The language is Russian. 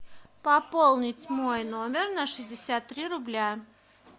пополнить мой номер на шестьдесят три рубля